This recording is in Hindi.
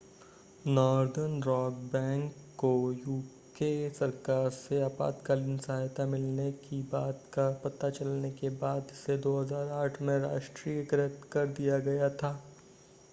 नॉर्दर्न रॉक बैंक को यूके सरकार से आपातकालीन सहायता मिलने की बात का पता चलने के बाद इसे 2008 में राष्ट्रीयकृत कर दिया गया था